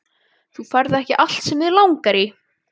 Þú færð ekki allt sem þig langar í!